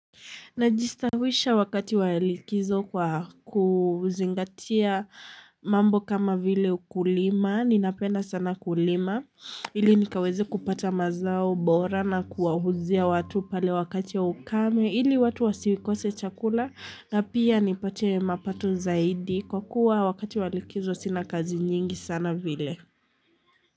Najistawisha wakati wa likizo kwa kuzingatia mambo kama vile ukulima, ninapenda sana kulima, hili nikaweze kupata mazao bora na kuwauzia watu pale wakati ya ukame, ili watu wasikose chakula na pia nipate mapato zaidi kwa kuwa wakati wa likizo sina kazi nyingi sana vile.